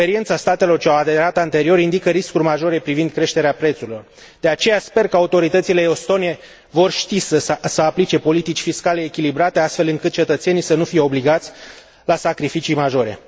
Experiența statelor ce au aderat anterior indică riscuri majore privind creșterea prețurilor, de aceea, sper că autoritățile estone vor ști să aplice politici fiscale echilibrate, astfel încât cetățenii să nu fie obligați la sacrificii majore.